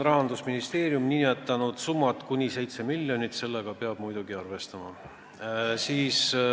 Rahandusministeerium on nimetanud selleks summaks kuni 7 miljonit, sellega peab muidugi arvestama.